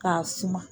K'a suma